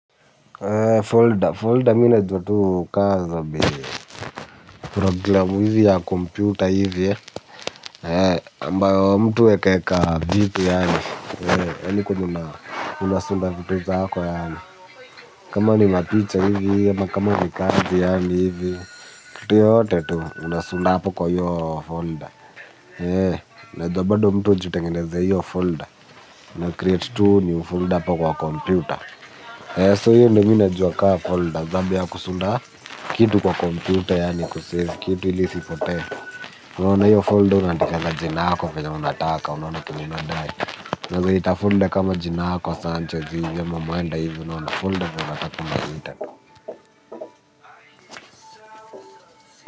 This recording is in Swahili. Folder, mi najua ka za bi programu hivi ya computer hivi ya, ambayo mtu huekeeka vitu yaani, ya niko unasunda vitu zako yaani, kama ni mapicha hivi, ama kama ni kazi yaani hivi, kitu yoyote tu, unasunda hapo kwa hio folder, najua bado mtu hujitengenezea hiyo folder, unacreate tu new folder hapo kwa computer, so hiyo, ndo mimi najua kama folder, zabe ya kusunda hapo, kitu kwa komputer yaani kusave, kitu ili isipotee. Unaona hiyo folder, unaadikaanga jina yako venye unataka, unaona kenye nadai. Unaeza ita folder kama jina yako, sanchez, hivyo, ama mwenda hivyo, unaona folder venye unataka unaita.